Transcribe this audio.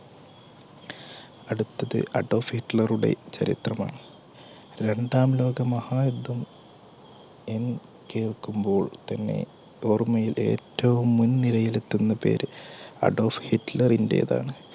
അടുത്തത് അഡോൾഫ് ഹിറ്റ്ലറുടെ ചരിത്രമാണ്. രണ്ടാം ലോകമഹായുദ്ധം എന്ന് കേൾക്കുമ്പോൾ തന്നെ ഓർമ്മയിൽ ഏറ്റവും മുന്നിലെത്തുന്ന പേര്അഡോൾഫ് ഹിറ്റ്ലറിന്റേതാണ്.